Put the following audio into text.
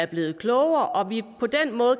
blevet klogere og vi